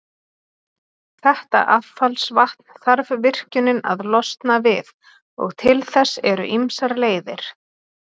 Þetta affallsvatn þarf virkjunin að losna við, og til þess eru ýmsar leiðir.